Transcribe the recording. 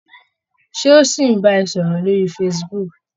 Ṣé ó ṣì ń bá ẹ sọ̀rọ̀ lórí facebook?